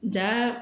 Ja